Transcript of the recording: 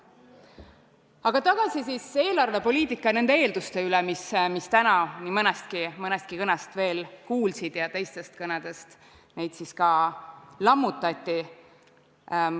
Aga tagasi eelarvepoliitika ja nende eelduste juurde, mis täna nii mõneski kõnes veel kõlasid ja mida teistes kõnedes siis ka lammutati.